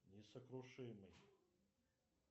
несокрушимый